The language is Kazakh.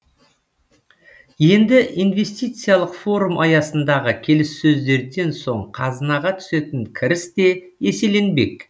енді инвестициялық форум аясындағы келіссөздерден соң қазынаға түсетін кіріс те еселенбек